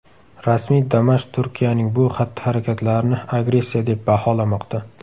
Rasmiy Damashq Turkiyaning bu xatti-harakatlarini agressiya deb baholamoqda.